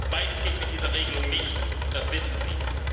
Beides geht mit dieser Regelung nicht, und das wissen sie.